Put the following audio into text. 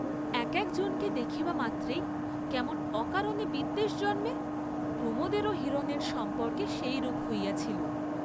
এক একজনকে দেখিবামাত্রেই কেমন অকারণে বিদ্বেষ জন্মে প্রমোদেরও হিরনের সম্পর্কে সেইরূপ হইয়াছিল।